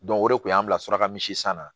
o de kun y'an bila suraka min san na